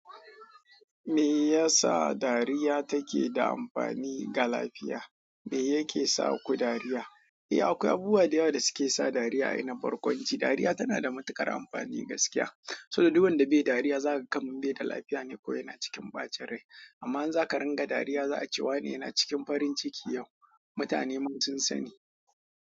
Me yasa dariya take da amfani ga lafiya? Me yake saku dariya. Eh akwai abubuwa da yawa da suke sa dariya a yanayin barkwanci. Dariya tana da matuƙar amfani gaskiya, saboda duk wanda be dariya zaka ga kamar bai da lafiya ne ko yana cikin bacin rai. Amma in zakan dinga dariya za a ce wani yana cikin farinciki yau mutane sun sani.